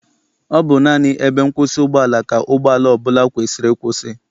Ọ bụ naanị ebe nkwụsị ụgbọala ka ụgbọala ọbụla kwesiri ịkwụsị.